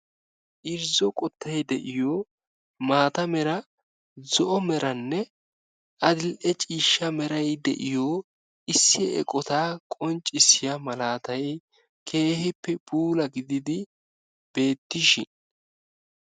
irzzo qottay de'iyo maata mala, zo'o malanne adl"e ciishshaa meray de'iyo issi eqqota qonccissiyo malatay keehippe puula gididi beettishin.